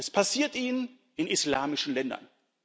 Es passiert ihnen in islamischen Ländern